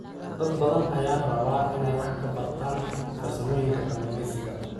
Dad badan ayaa raba inay wax ka bartaan farsamooyinka kalluumeysiga.